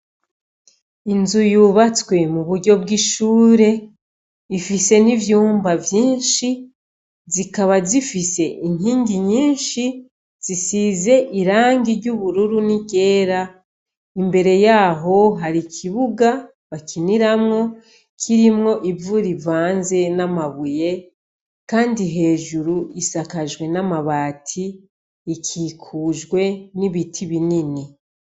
Inzuru y' ubatswe mu buryo bwishure Ifise N' ivyumba vyinshi zikaba zifise inkingi nyinshi zisizwe iranga ryera n'iryubururu imbere yaho hariho nikibuga bakiniramwo Kirimwo ivu rivanze n'amabuye kandi Hejuru isakajwe n' amati ikikujwe nibiti binini.